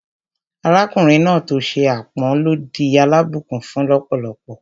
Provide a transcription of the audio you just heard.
Arákùnrin náà tó ṣe ápọn ló di alábùnkún-fún lọ́pọ̀lọ́pọ̀